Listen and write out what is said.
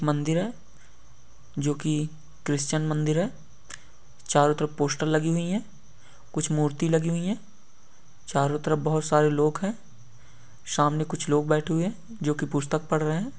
मंदिर हैं। जो कि ख्रिस्तन मंदिर हैं। चारों तरफ पोस्टर लगी हुई हैं। कुछ मूर्ति लगी हुई हैं। चारों तरफ बोहोत सारे लोग हैं। सामने कुछ लोग बैठे हुए हैं। जो कि पुस्तक पढ़ रहे हैं।